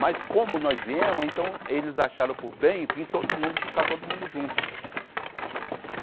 Mas como nós viemos, então eles acharam por bem vir todo mundo, ficar todo mundo junto.